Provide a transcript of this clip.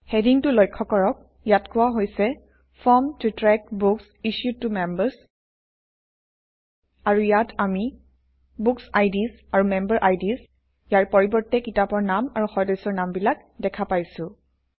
হেডিংটো লক্ষ্য কৰক ইয়াত কোৱা হৈছে - form to track books issued to members আৰু ইয়াত আমি বুকচিডছ আৰু মেম্বেৰিডছ ইয়াৰ পৰিৱৰ্তে কিতাপৰ নাম আৰু সদস্যৰ নামবিলাক দেখা পাইছোঁ